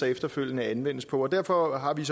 efterfølgende anvendes på derfor har vi